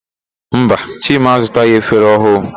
Mba, Chima azụtaghị efere ọhụụ.